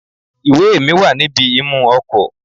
Ìwé è mi wà níbi imú ọkò